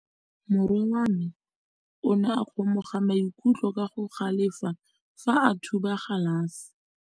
Morwa wa me o ne a kgomoga maikutlo ka go galefa fa a thuba galase.